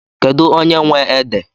Kedụ onye nwe ede?